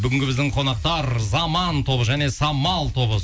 бүгінгі біздің қонақтар заман тобы және самал тобы